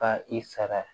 Ka i sara